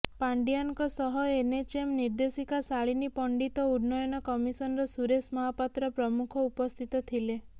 ପାଣ୍ଡିୟାନଙ୍କ ସହ ଏନଏଚଏମ୍ ନିର୍ଦ୍ଦେଶିକା ଶାଳିନୀ ପଣ୍ଡିତ ଓ ଉନ୍ନୟନ କମିଶନର ସୁରେଶ ମହାପାତ୍ର ପ୍ରମୁଖ ଉପସ୍ଥିତ ଥିଲେ